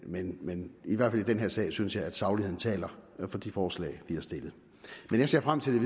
men men i hvert fald i den her sag synes jeg at sagligheden taler for de forslag vi har stillet jeg ser frem til